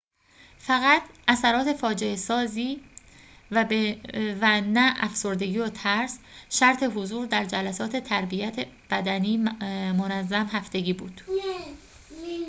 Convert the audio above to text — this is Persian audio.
فقط اثرات فاجعه‌سازی و نه افسردگی و ترس شرط حضور در جلسات تربیت بدنی منظم هفتگی بود